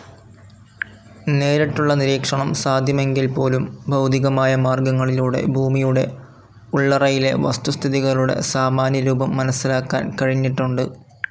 നേരിട്ടുള്ള നിരീക്ഷണം സാധ്യമെങ്കിൽപോലും, ഭൗതികമായ മാർഗ്ഗങ്ങളിലൂടെ ഭൂമിയുടെ ഉള്ളറയിലെ വസ്തുസ്ഥിതികളുടെ സാമാന്യരൂപം മനസിലാക്കാൻ കഴിഞ്ഞിട്ടുണ്ട്.